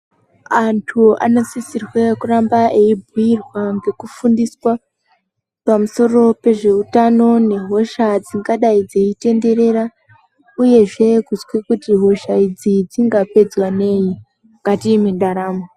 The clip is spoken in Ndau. Antu anosisirwe kuramba eibhuirwa ngekufundiswa pamusoro pezveutano nehosha dzingadai dzei tenderera uyezve kuzwe kuti hosha idzi dzingapedzwa nei mukati mwendaramo.